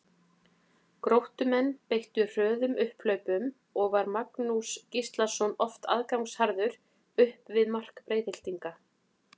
Gróttumenn beittu hröðum upphlaupum og var Magnús Gíslason oft aðgangsharður upp við mark Breiðhyltinga.